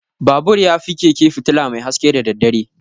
Babur yafi keke fitula mai haske da daddare.